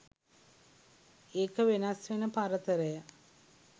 එක වෙනස්වෙන පරතරය